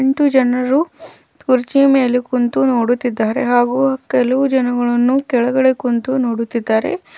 ಎಂಟು ಜನರು ಕುರ್ಜಿಯ ಮೇಲೆ ಕುಂತು ನೋಡುತ್ತಿದ್ದಾರೆ ಹಾಗು ಕೆಲವು ಜನಗಳನ್ನು ಕೆಳಗೆ ಕುಂತು ನೋಡುತ್ತಿದ್ದಾರೆ.